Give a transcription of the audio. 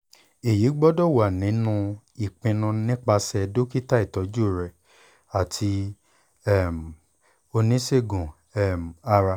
eyi gbọdọ wa ni ipinnu nipasẹ dokita itọju rẹ ati um onisegun um ara